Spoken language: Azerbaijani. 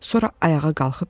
Sonra ayağa qalxıb dedi: